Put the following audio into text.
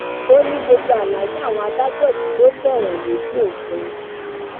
ó ní gbogbo àlàyé àwọn adájọ yìí ló tẹwọn lójú òfin